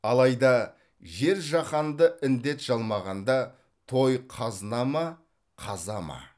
алайда жер жаһанды індет жалмағанда той қазына ма қаза ма